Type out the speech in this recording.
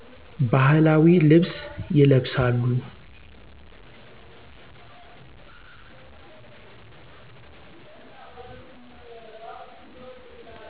ባህላዊ ልብስ ይለብሳሉ።